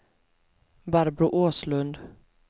Barbro Åslund